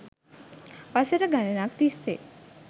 වසර ගණනක් තිස්සේ